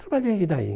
Trabalhei e daí?